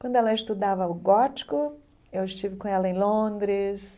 Quando ela estudava o gótico, eu estive com ela em Londres,